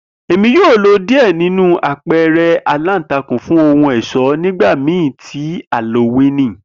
Emi yoo lo diẹ ninu apẹẹrẹ alántakùn fun ohun ọṣọ nigbamii ti Halowíìnì.